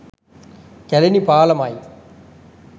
''Kelani පාලම''යි.